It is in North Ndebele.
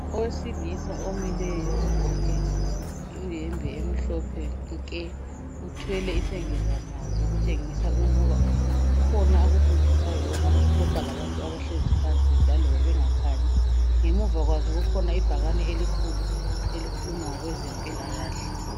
Owesilisa omileyo ogqoke iyembe emhlophe nke. Uthwele isengezamazwi okutshengisa ukuba kukhona akufundisayo loba akuxoxa labantu abahlezi phansi laloba bengakhanyi. Ngemuva kwakhe kukhona ibhakani elikhulu elikhuluma ngezempilakahle.